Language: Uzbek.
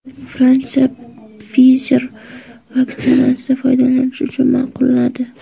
Fransiya Pfizer vaksinasini foydalanish uchun ma’qulladi.